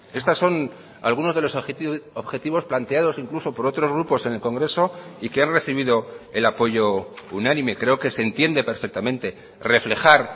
estas son algunos de los objetivos planteados incluso por otros grupos en el congreso y que han recibido el apoyo unánime creo que se entiende perfectamente reflejar